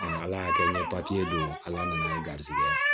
ala y'a kɛ n ye don ala minɛ garisigɛ